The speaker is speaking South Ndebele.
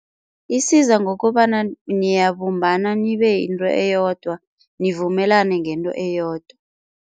Isiza ngokobana niyabumbana nibe yinto eyodwa nivumelane ngento eyodwa.